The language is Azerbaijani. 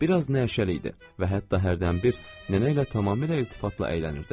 Biraz nərşəli idi və hətta hərdən bir nənə ilə tamamilə iltifatla əylənirdi.